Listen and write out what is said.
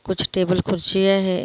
कुछ टेबल कुर्सियाँ है।